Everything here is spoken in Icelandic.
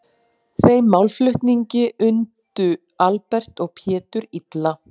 Þeim málflutningi undu Albert og Pétur illa.